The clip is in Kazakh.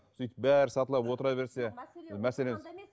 сөйтіп бәрі сатылап отыра берсе мәселе